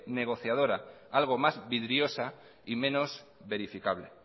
negociadora algo más vidriosa y menos verificable